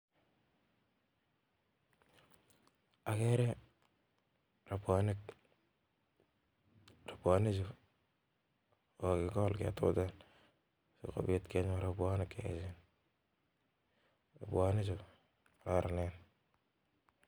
Ageree robuonik che ka kitutan sikopit kekol. Rubuonik chutok ko kararanen